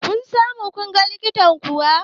Kun samu kunga likitan kuwa?